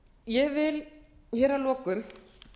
ég vil hér að lokum